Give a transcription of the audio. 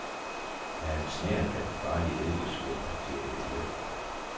Der er en snert af den farlige eddikesyrebakterie i luften.